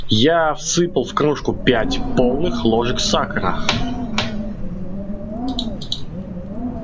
я всыпал в кружку пять полных ложек сахара